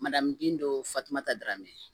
Madamu bin dɔw fatumata daramɛn